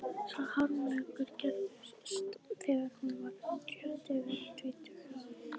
Sá harmleikur gerðist þegar hún var rétt yfir tvítugt að